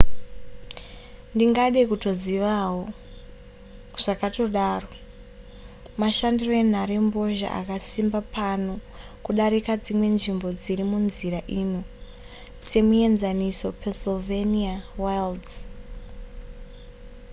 ndingade kutozivawo zvakatodaro mashandiro enhare mbozha akasimba pano kudarika dzimwe nzvimbo nziri munzira ino semuenzaniso pennsylvania wilds